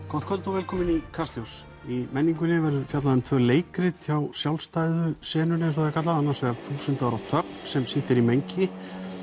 gott kvöld og velkomin í Kastljós í menningunni verður fjallað um tvö leikrit hjá sjálfstæðu senunni annars vegar þúsund ára þögn sem sýnt er í mengi